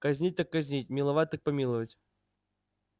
казнить так казнить миловать так помиловать